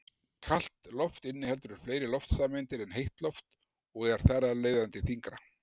Kalt loft inniheldur fleiri loftsameindir en heitt loft og er þar af leiðandi þyngra.